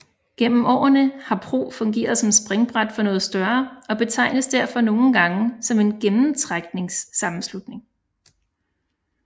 Gennem årene har PRO fungeret som springbræt for noget større og betegnes derfor nogle gange som en gennemtrækssammenslutning